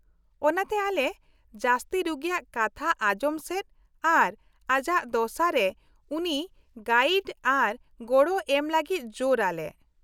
-ᱚᱱᱟᱛᱮ ᱟᱞᱮ ᱡᱟᱹᱥᱛᱤ ᱨᱩᱜᱤᱭᱟᱜ ᱠᱟᱛᱷᱟ ᱟᱡᱚᱢ ᱥᱮᱫ ᱟᱨ ᱟᱡᱟᱜ ᱫᱚᱥᱟᱨᱮ ᱩᱱᱤ ᱜᱟᱭᱤᱰ ᱟᱨ ᱜᱚᱲᱚ ᱮᱢ ᱞᱟᱹᱜᱤᱫ ᱡᱳᱨ ᱟᱞᱮ ᱾